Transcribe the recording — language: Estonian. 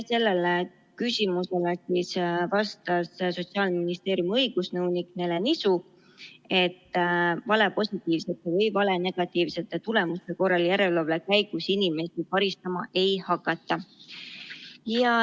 Sellele küsimusele vastas Sotsiaalministeeriumi õigusnõunik Nele Nisu, et valepositiivsete või valenegatiivsete tulemuste korral järelevalve käigus inimesi karistama ei hakata.